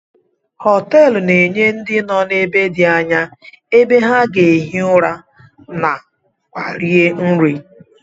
Hoteelu na-enye ndị nọ n'ebe dị anya ebe ha ga-ehi ụra na kwa rie nri.